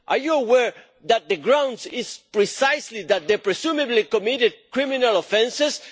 Are you aware that the grounds are precisely that they have presumably committed criminal offences?